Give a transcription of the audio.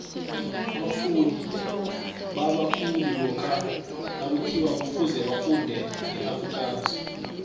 abafundi balwa khulu lokha nakuthiwa kufuze bafunde ngeafrikaans